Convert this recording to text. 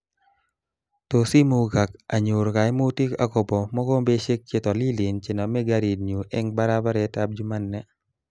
Tos imugak anyoru kaimutik akobo mokombeshek chetolilen chename garit nyu eng barabaretab Jumanne